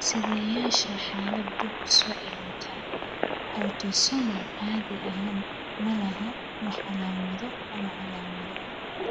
Siddeyaasha xaalad dib-u-soo-celinta autosomal caadi ahaan ma laha wax calaamado ama calaamado ah.